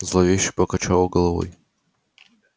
зловеще покачала головой